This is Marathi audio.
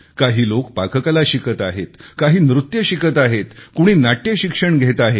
काही लोक पाककला शिकत आहेत काही नृत्य शिकत आहेत कुणी नाट्यशिक्षण घेत आहे